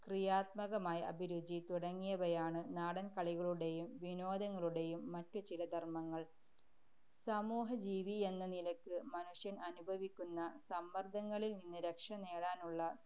ക്രിയാത്മകമായ അഭിരുചി തുടങ്ങിയവയാണ് നാടന്‍ കളികളുടെയും വിനോദങ്ങളുടെയും മറ്റു ചില ധര്‍മങ്ങള്‍. സമൂഹജീവി എന്ന നിലയ്ക്ക് മനുഷ്യന്‍ അനുഭവിക്കുന്ന സമ്മര്‍ദങ്ങളില്‍നിന്ന് രക്ഷനേടാനുള്ള